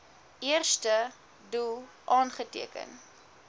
eerste doel aangeteken